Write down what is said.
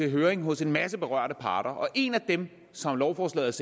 i høring hos en masse berørte parter og en af dem som lovforslaget